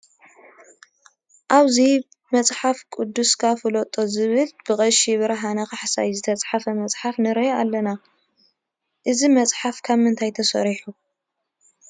ኣብዚ መፅሓፍ ቅዱስካ ፍለጦ ዝብል ብቐሺ ብርሃነ ካሕሳይ ዝተፃሕፈ መፅሓፍ ንርኢ ኣለና፡፡ እዚ መፅሓፍ ካብ ምንታይ ተሰሪሑ?